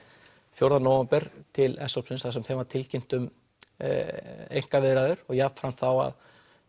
fjórða nóvember til s hópsins sem var tilkynnt um einkaviðræður og jafnframt þá að